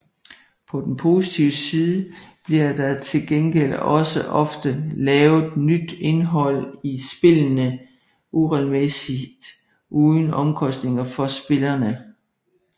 På den positive side bliver der til gengæld også ofte lavet nyt indhold i spillene regelmæssigt uden omkostninger for spillerne